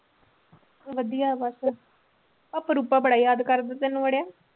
ਵਧੀਆ ਬਸ ਰੂਪਾ ਬੜਾ ਯਾਦ ਕਰਦਾ ਤੈਨੂੰ ਅੜਿਆ।